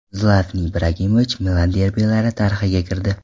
Zlatan Ibragimovich Milan derbilari tarixiga kirdi.